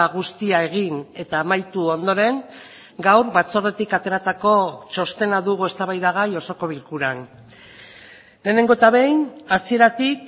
guztia egin eta amaitu ondoren gaur batzordetik ateratako txostena dugu eztabaidagai osoko bilkuran lehenengo eta behin hasieratik